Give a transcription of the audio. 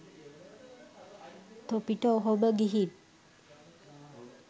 තොපිට ඔහොම ගිහින්